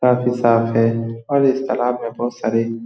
काफी साफ़ है और इस तालाब में बहुत सारे --